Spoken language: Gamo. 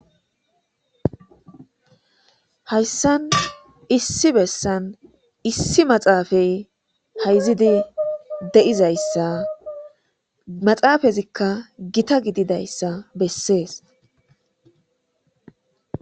hayssan issi bessan issi maxaafay hayzidi de7izayssa maxaafazikka gita gididayssa bessees